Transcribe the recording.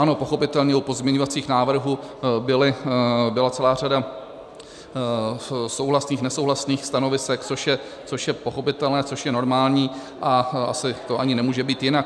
Ano, pochopitelně, u pozměňovacích návrhů byla celá řada souhlasných, nesouhlasných stanovisek, což je pochopitelné, což je normální a asi to ani nemůže být jinak.